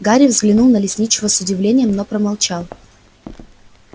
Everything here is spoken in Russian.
гарри взглянул на лесничего с удивлением но промолчал